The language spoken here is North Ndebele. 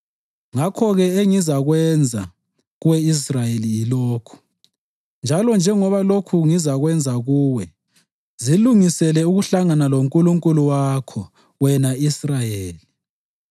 “Ngakho-ke engizakwenza kuwe Israyeli yilokhu, njalo njengoba lokhu ngizakwenza kuwe, zilungisele ukuhlangana loNkulunkulu wakho, wena Israyeli.”